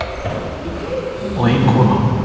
Þrír karlmenn og ein kona.